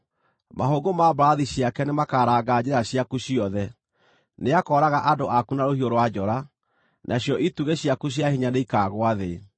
Mahũngũ ma mbarathi ciake nĩmakaranga njĩra ciaku ciothe; nĩakooraga andũ aku na rũhiũ rwa njora, nacio itugĩ ciaku cia hinya nĩikaagũa thĩ.